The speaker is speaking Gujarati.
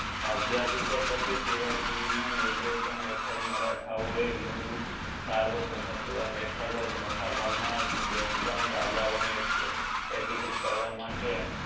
તાજીઆભીષકે પછી શિવજી ના નિર્દેશન હેતદ મરથાઓ એ હિન્દુ સર્વભૂમત્વ હેતદ મોટાભાગ ના ડેકન રજાઓ ને યકીકૃત કરવા માટે